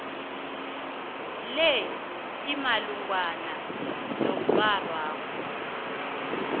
le imalungana nomrholwakho